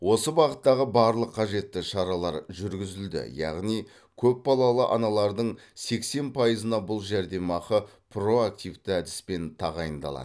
осы бағыттағы барлық қажетті шаралар жүргізілді яғни көпбалалы аналардың сексен пайызына бұл жәрдемақы проактивті әдіспен тағайындалады